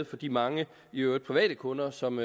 for de mange i øvrigt private kunder som